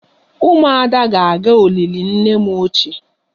Umuada ga-aga olili nne m ochie